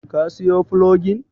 Ka siyo fulogin?